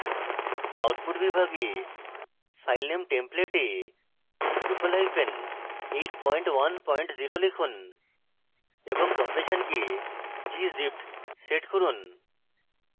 output বিভাগে filename template এ drupal810 লিখুন এবং compression কে gzipped set করুন